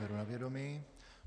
Beru na vědomí.